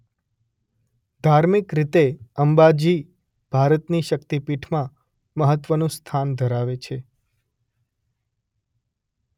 ધાર્મિક રીતે અંબાજી ભારતની શક્તિપીઠમાં મહત્વનું સ્થાન ધરાવે છે.